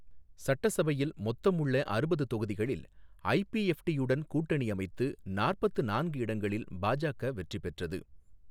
சட்டசபையில் மொத்தம் உள்ள அறுபது தொகுதிகளில் ஐபிஎஃப்ட்டியுடன் கூட்டணி அமைத்து நாற்பத்து நான்கு இடங்களில் பாஜக வெற்றி பெற்றது.